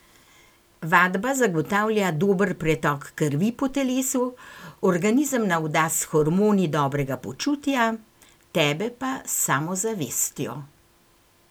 Vadba zagotavlja dober pretok krvi po telesu, organizem navda z hormoni dobrega počutja, tebe pa s samozavestjo.